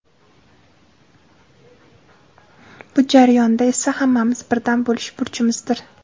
Bu jarayonda esa hammamiz birdam bo‘lish burchimizdir.